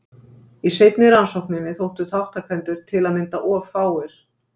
Í seinni rannsókninni þóttu þátttakendur til að mynda of fáir.